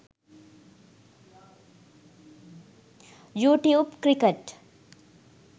you tube cricket